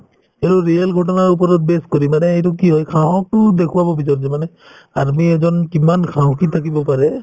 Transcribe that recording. এইটোত real ঘটনাৰ ওপৰত base কৰি মানে সেইটো কি হয় সাহসতো দেখুৱাব বিচাৰিছে মানে army এজন কিমান সাহসী থাকিব পাৰে